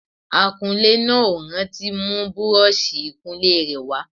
Akunlé náà ò rántí mú búrọ́ọ̀ṣì ìkunlé rẹ̀ wá